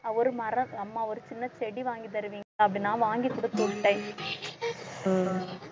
ஒரு மரம் அம்மா ஒரு சின்ன செடி வாங்கி தருவீங்~ அதை நான் வாங்கி குடுத்து விட்டேன்